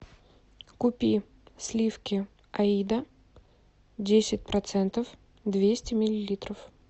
купи сливки аида десять процентов двести миллилитров